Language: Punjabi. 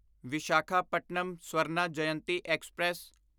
ਵਿਸ਼ਾਖਾਪਟਨਮ ਸਵਰਨਾ ਜਯੰਤੀ ਐਕਸਪ੍ਰੈਸ